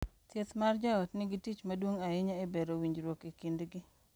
Thieth mar joot nigi tich maduong’ ahinya e bero winjruok e kindgi